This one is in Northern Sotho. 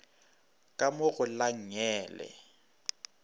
ka mo go la nngele